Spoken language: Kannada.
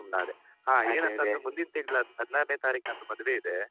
ನಾನು ಸುಮ್ಮನಾದೆ ಹ ಏನಂತಂದ್ರೆಮುಂದಿನ ತಿಂಗ್ಳು ಹದ್ನಾರ್ರನೆ ತಾರೀಕು ನನ್ನ ಮದ್ವೆ ಇದೆ.